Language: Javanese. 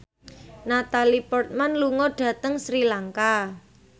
Natalie Portman lunga dhateng Sri Lanka